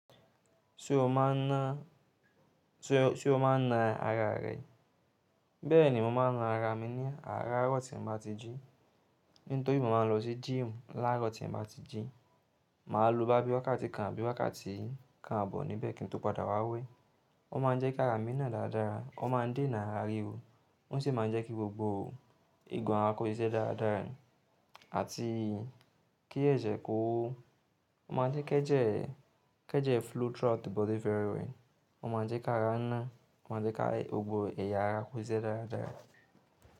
Ṣé o máa ń ná ara rẹ? Bẹ́ẹ̀ni, mo máa ń ná ara mi ní àárọ̀ tí ń bá ti jí. Nítorí mo máa ń lọ sí gym láàárọ̀ tí ń bá ti jí. Mà á lo bá bí wákàtí kan àbí wákàtí kan àbọ̀ níbẹ̀ kí n tó padà wá wẹ̀. Ó máa ń jẹ́ kí ara mi ná dàadára, ó máa ń dènà ara ríro, ó sì máa ń jẹ́ kí gbogbo ìgún ara kó sisẹ́ dáadáa àti kí ẹ̀jẹ̀ kó. Ó máa ń jẹ́ kí ẹ jẹ́, kí ẹ jẹ́ fluid throughout the body very well. Ó máa ń jẹ́ kí ara ná, ó máa ń jẹ́ kí gbogbo ẹ̀yà ara kó ṣiṣẹ́ dáadára.